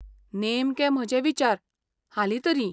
नेमके म्हजे विचार, हालीं तरी.